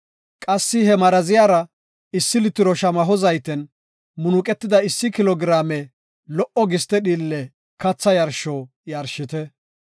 Qassi he maraziyara issi litiro shamaho zayten munuqetida issi kilo giraame lo77o giste dhiille katha yarsho yarshite.